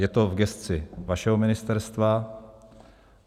Je to v gesci vašeho ministerstva.